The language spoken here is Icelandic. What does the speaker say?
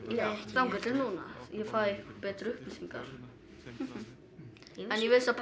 þangað til núna ég fæ betri upplýsingar en ég vissi að